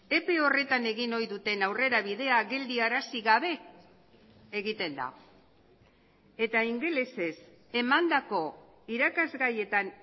epe horretan egin ohi duten aurrerabidea geldiarazi gabe egiten da eta ingelesez emandako irakasgaietan